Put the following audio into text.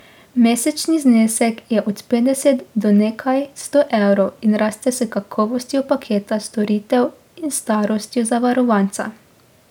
Mesečni znesek je od petdeset do nekaj sto evrov in raste s kakovostjo paketa storitev in starostjo zavarovanca.